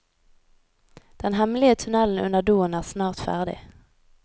Den hemmelige tunnelen under doen er snart ferdig.